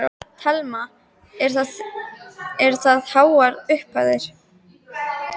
Telma: Hvað eru það háar upphæðir?